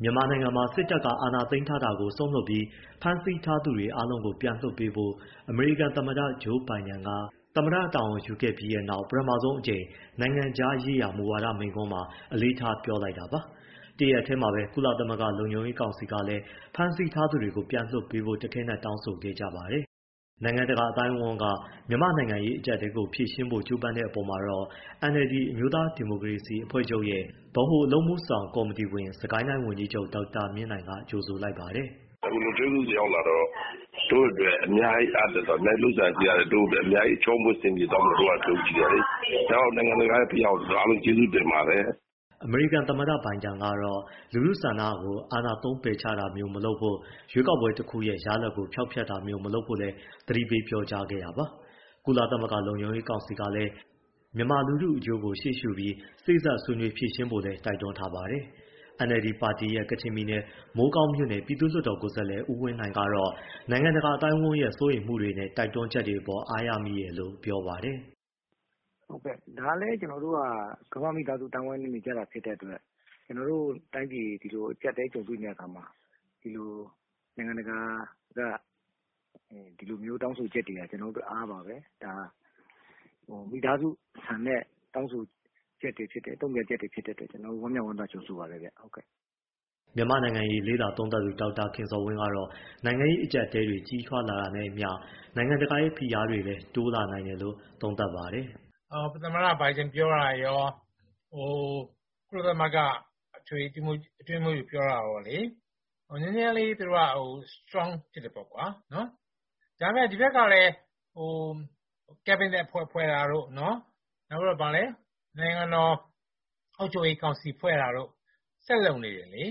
မြန်မာနိုင်ငံမှာ စစ်တပ်က အာဏာသိမ်းထားတာကို စွန့်လွှတ်ပြီး၊ ဖမ်းဆီးထားသူ အားလုံးကို ပြန်လွှတ်ပေးဖို့ အမေရိကန်သမ္မတ Joe Biden က သမ္မတတာဝန်ယူခဲ့ပြီးနောက် ပထမဆုံးအကြိမ် နိုင်ငံခြားရေးရာ မူဝါဒမိန့်ခွန်းမှာ အလေးထား ပြောလိုက်တာပါ။ တရက်တည်းမှာပဲ ကုလသမဂ္ဂ လုံခြုံရေးကောင်စီကလည်း ဖမ်းဆီးထားသူတွေကို ပြန်လွှတ်ပေးဖို့ တခဲနက်တောင်းဆိုခဲ့ကြပါတယ်။ နိုင်ငံတကာ အသိုင်းအဝန်းက မြန်မာ့နိုင်ငံရေး အကျပ်အတည်းကို ဖြေရှင်းဖို့ ကြိုးပမ်းတဲ့အပေါ်မှာတော့ NLD အမျိုးသားဒီမိုကရေစီအဖွဲ့ချုပ်ရဲ့ ဗဟိုအလုပ်အမှုဆောင်ကော်မတီဝင် စစ်ကိုင်းတိုင်း ဝန်ကြီးချုပ် ဒေါက်တာမြင့်နိုင်က ကြိုဆိုလိုက်ပါတယ်။ “ အခုလုံခြုံရေးကောင်စီရောက်လာတော့ တို့အတွက် အများကြီး အားတက်သွားတယ် အများကြီးချောမွေ့ အဆင်ပြေသွားမယ်လို့ တို့ကယုံကြည်တယ်လေ။ နောက်ပြီး နိုင်ငံတကာရဲ့ ဖိအားကိုလည်း အားလုံးကျေးဇူးတင်ပါတယ်။” အမေရိကန်သမ္မတ Biden ကတော့ လူထုဆန္ဒကို အာဏာသုံးပယ်ချတာမျိုး မလုပ်ဖို့၊ ရွေးကောက်ပွဲတခုရဲ့ ရလဒ်ကို ဖျောက်ဖျက်တာမျိုး မလုပ်ဖို့လည်း သတိပေးပြောကြားခဲ့တာပါ။ ကုလသမဂ္ဂ လုံခြုံရေးကောင်စီကလည်း မြန်မာလူထုအကျိုးကို ရှေ့ရှုပြီး၊ စေ့စပ်ဆွေးနွေး ဖြေရှင်းဖို့လည်း တိုက်တွန်းထားပါတယ်။ NLD ပါတီရဲ့ ကချင်ပြည်နယ်၊ မိုးကောင်းမြို့နယ် ပြည်သူ့လွှတ်တော်ကိုယ်စားလှယ် ဦးဝင်းနိုင်ကတော့ နိုင်ငံတကာ အသိုင်းအဝန်းရဲ့ စိုးရိမ်မှုတွေနဲ့ တိုက်တွန်းချက်တွေအတွက် အားရမိတယ်လို့ ပြောပါတယ်။ “ ဒါလည်းကျနော်တို့က ကမ္ဘာ့မိသားစု အသိုင်းအဝန်းနဲ့ နေကြတာဖြစ်တဲ့အတွက် ကျနော်တို့တိုင်းပြည် အကျပ်အတည်းနဲ့ ကြုံရတဲ့အချိန်မှာ နိုင်ငံတကာက ဒီလိုမျိုး တောင်းဆိုချက်တွေဟာ ကျနော်တို့အတွက် အားပါပဲ။ ဒါက မိသားစုဆန်တဲ့ တောင်းဆိုချက်တွေ တုံ့ပြန်ချက်တွေ ဖြစ်တဲ့အတွက် ကျနော်တို့ ဝမ်းမြောက်ဝမ်းသာ ကြိုဆိုပါတယ်။” မြန်မာ့နိုင်ငံရေး လေ့လာသုံးသပ်သူ ဒေါက်တာခင်ဇော်ဝင်းကတော့ နိုင်ငံရေးအကျပ်အတည်းတွေ ကြီးထွားလာတာနဲ့အမျှ နိုင်ငံတကာရဲ့ ဖိအားတွေလည်း တိုးလာနိုင်တယ်လို့ သုံးသပ်ပါတယ်။ “ သမ္မတ ဘိုင်ဒင်ပြောတာတွေရော ကုလသမဂ္ဂ အထွေထွေ အတွင်းရေးမှူးချုပ် ပြောတာရောပေါ့လေ၊ နည်းနည်းလေး သူတို့က strong ဖြစ်တယ်ပေါ့၊ ဒါပေမယ့် ဒီဘက်ကလည်း cabinet ဖွဲ့တာတို့ နိုင်ငံတော် အုပ်ချုပ်ရေးကောင်စီ ဖွဲ့တာတို့ ဆက်လုပ်နေတယ်လေ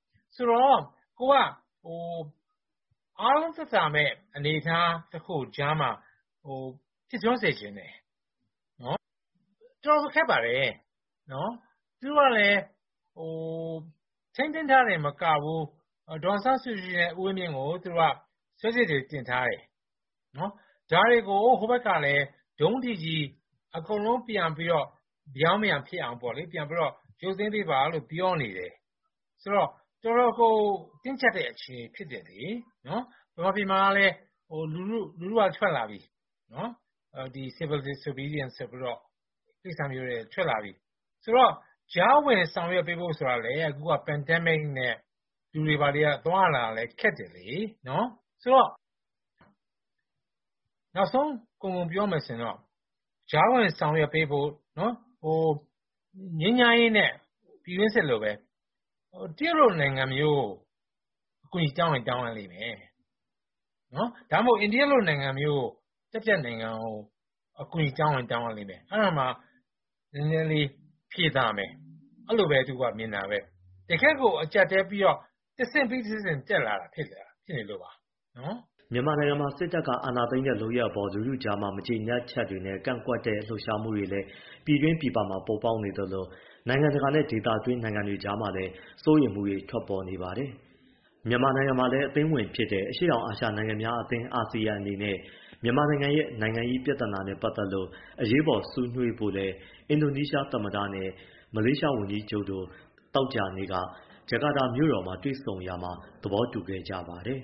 ၊ ဆိုတော့ ကိုယ်က အားလုံးသက်သာမယ့် အနေအထားကြားမှာ ဖြစ်ထွန်းစေချင်တယ်။ တော်တော်ခက်ပါတယ် သူတို့ကလည်း ထိန်းသိမ်းထားရုံမကဘူး ဒေါ်အောင်ဆန်းစုကြည်နဲ့ ဦးဝင်းမြင့်ကို စွဲချက်တွေ တင်ထားတယ်။ ဒါတွေကို ဟိုဘက်ကလည်း ဒုံးတိကြီး အကုန်လုံးပြန်ပြီးတော့ ရုပ်သိမ်းပေးပါလို့ ပြောနေတယ်၊ ဆိုတော့ တင်းကျပ်တဲ့ အခြေအနေ ဖြစ်တယ်လေ၊ မြန်မာပြည်မှာလည်း လူထုက ထွက်လာပြီ Civil Disobedience ဆိုပြီးတော့။ ဆိုတော့ ကြားဝင်ဆောင်ရွက်ပေးဖို့ ဆိုတာကလည်း pandemic နဲ့ လူတွေက သွားလာရခက်တယ်လေ။ နောက်ဆုံးကုန်ကုန်ပြောမယ်လေ ကြားဝင်ဆောင်ရွက်ပေးဖို့ ငြိမ်းချမ်းရေးနဲ့ ပြည်တွင်းစစ်လိုပဲ တရုတ်ကို အကူအညီ တောင်းရလိမ့်မယ်၊ ဒါမှမဟုတ် အိန္ဒိယလို တတိယနိုင်ငံကို တောင်းရင်တောင်းရလိမ့်မယ် အဲဒီတော့မှ နည်းနည်းလေး ဖြေသာမယ်၊ အဲဒီလိုသူက မြင်တာပဲ၊ တကယ့်ကို အကျပ်အတည်းဖြစ်ပြီးတော့ တဆင့်ပြီးတဆင့် ကျပ်လာတာဖြစ်တယ်။” မြန်မာနိုင်ငံမှာ စစ်တပ်က အာဏာသိမ်းတဲ့ လုပ်ရပ်အပေါ် လူထုကြားမှာ မကျေနပ်ချက်တွေနဲ့ ကန့်ကွက်တဲ့ လှုပ်ရှားမှုတွေလည်း ပြည်တွင်း၊ ပြည်ပမှာ ပေါ်ပေါက်နေသလို နိုင်ငံတကာနဲ့ ဒေသတွင်းနိုင်ငံတွ ကြားမှာလည်း စိုးရိမ်မှုတွေ ထွက်ပေါ်နေပါတယ်။ မြန်မာနိုင်ငံလည်း အသင်းဝင်ဖြစ်တဲ့ အရှေ့တောင်အာရှ နိုင်ငံများအသင်း အနေနဲ့ မြန်မာနိုင်ငံရဲ့ နိုင်ငံရေးပြဿနာနဲ့ ပတ်သက်လို့ အရေးပေါ် ဆွေးနွေးဖို့လည်း အင်ဒိုနီးရှားသမ္မတနဲ့ မလေးရှားဝန်ကြီးချုပ်တို့ သောကြာနေ့က ဂျကာတာမြို့တော်မှာ တွေ့ဆုံရာမှာ သဘောတူခဲ့ကြပါတယ်